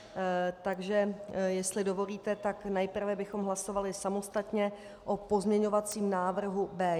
Takže jestli dovolíte, nejprve bychom hlasovali samostatně o pozměňovacím návrhu B1.